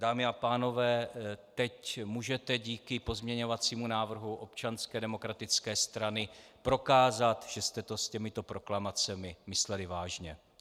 Dámy a pánové, teď můžete díky pozměňovacímu návrhu Občanské demokratické strany prokázat, že jste to s těmito proklamacemi mysleli vážně.